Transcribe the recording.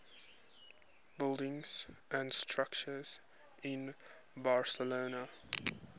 buildings and structures in barcelona